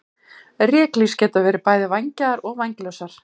Ryklýs geta verið bæði vængjaðar og vænglausar.